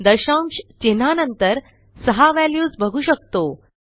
दशांश चिन्हानंतर सहा व्हॅल्यूज बघू शकतो